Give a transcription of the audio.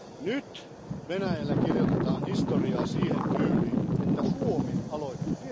Nyt Venäjällä kirjoitetaan historiaa siihen tyyliin, että Suomi aloitti.